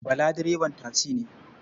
Bala direban tasi ne.